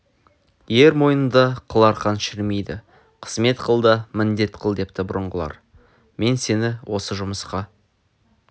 ер мойнында қыл арқан шірімейді қызмет қыл да міндет қыл депті бұрынғылар мен сені осы жұмысқа